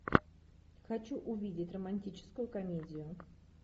хочу увидеть романтическую комедию